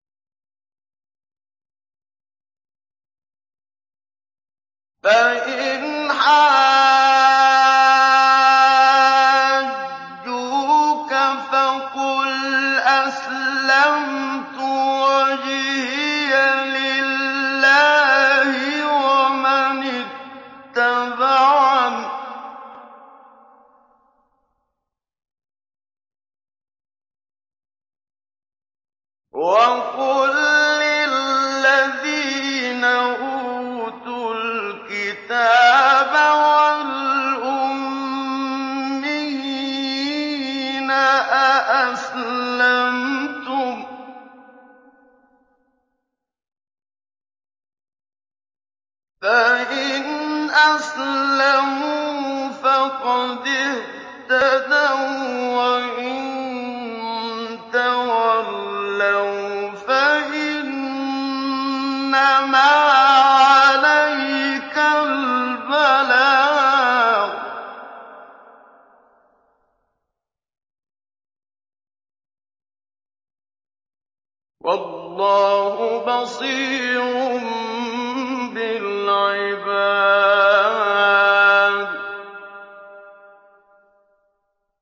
فَإِنْ حَاجُّوكَ فَقُلْ أَسْلَمْتُ وَجْهِيَ لِلَّهِ وَمَنِ اتَّبَعَنِ ۗ وَقُل لِّلَّذِينَ أُوتُوا الْكِتَابَ وَالْأُمِّيِّينَ أَأَسْلَمْتُمْ ۚ فَإِنْ أَسْلَمُوا فَقَدِ اهْتَدَوا ۖ وَّإِن تَوَلَّوْا فَإِنَّمَا عَلَيْكَ الْبَلَاغُ ۗ وَاللَّهُ بَصِيرٌ بِالْعِبَادِ